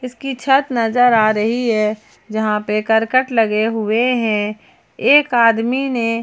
की छत नजर आ रही है जहां पे करकट लगे हुए हैं एक आदमी ने--